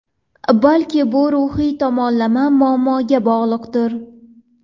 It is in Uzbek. Balki bu ruhiy tomonlama muammoga bog‘liqdir.